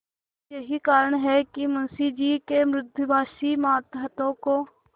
यही कारण है कि मुंशी जी के मृदुभाषी मातहतों को